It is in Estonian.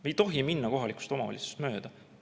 Me ei tohi minna kohalikust omavalitsusest mööda!